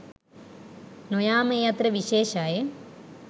නොයාම ඒ අතර විශේෂයි.